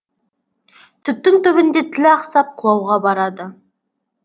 түптің түбінде тіл ақсап құлауға барады